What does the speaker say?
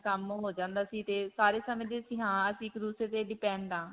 ਕੰਮ ਹੋ ਜਾਂਦਾ ਸੀ ਤੇ ਸਾਰੇ ਸਮਝਦੇ ਸੀ ਕਿ ਅਸੀਂ ਇੱਕ ਦੂਸਰੇ ਤੇ depend ਹਾਂ.